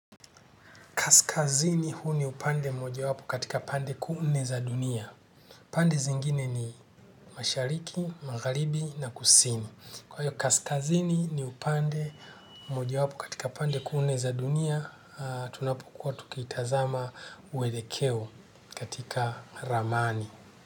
Kaskazini huu ni upande mojawapo katika pande kuu nne za dunia. Pande zingine ni mashariki, magharibi na kusini. Kwa hiyo kaskazini ni upande mojawapo katika pande kuu nne za dunia, tunapokuwa tukitazama mwelekeo katika ramani.